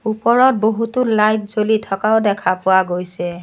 ওপৰত বহুতো লাইট জ্বলি থকাও দেখা পোৱা গৈছে।